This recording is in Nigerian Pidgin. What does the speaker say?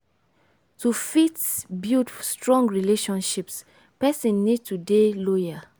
to fit build strong friendships person need to dey loyal